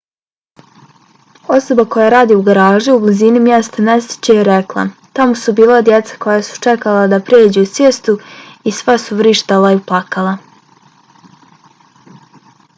osoba koja radi u garaži u blizini mjesta nesreće je rekla: tamo su bila djeca koja su čekala da pređu cestu i sva su vrištala i plakala.